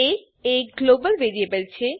એ એક global variable છે